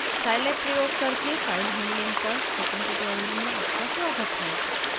scilab प्रयोग करके file handling पर स्पोकन ट्यूटोरियल में आपका स्वागत है